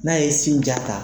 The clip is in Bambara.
N'a ye sin ja ta